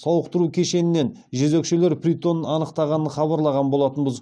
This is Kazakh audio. сауықтыру кешенінен жезөкшелер притонын анықтағанын хабарлаған болатынбыз